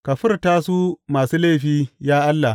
Ka furta su masu laifi, ya Allah!